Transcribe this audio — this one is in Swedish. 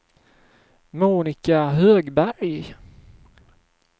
Monika Högberg